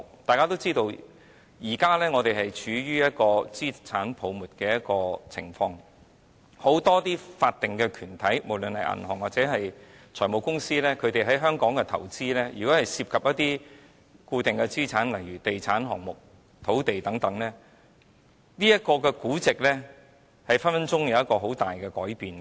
大家也知道，我們現正處於資產泡沫的情況，很多法定團體，不論是銀行或財務公司，如果它們在香港的投資涉及固定資產，例如地產項目、土地等，其股本價值動輒會有很大的改變。